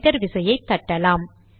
enter விசையை தட்டலாம்